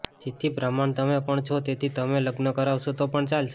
જેથી બ્રાહ્મણ તમે પણ છો તેથી તમે લગ્ન કરાવશો તો પણ ચાલશે